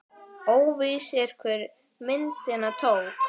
Óvíst er, hver myndina tók.